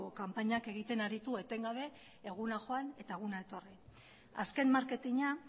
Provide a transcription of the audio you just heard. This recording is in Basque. kanpainak egiten aritu etengabe eguna joan eta eguna etorri azken marketina